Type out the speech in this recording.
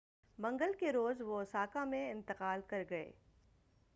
منگل کے روز وہ اوساکا میں انتقال کر گئے